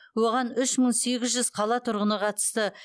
оған үш мың сегіз жүз қала тұрғыны қатысты